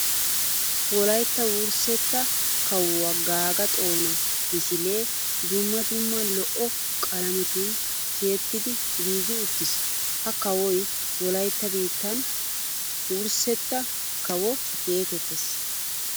Wolaytta wurssetta kawuwa Gaga Xoona misile dumma dumma lo'o qalamettun tiyettiddi giigi uttiis. Ha kawoy wolaytta biittan wurssetta kawo geetettes.